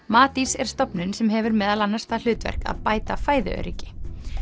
Matís er stofnun sem hefur meðal annars það hlutverk að bæta fæðuöryggi